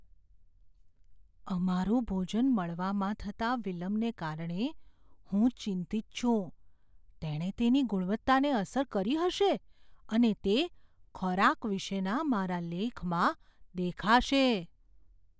અમારું ભોજન મળવામાં થતા વિલંબને કારણે હું ચિંતિત છું. તેણે તેની ગુણવત્તાને અસર કરી હશે અને તે ખોરાક વિશેના મારા લેખમાં દેખાશે.